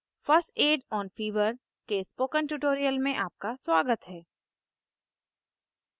first aid on fever के spoken tutorial में आपका स्वागत है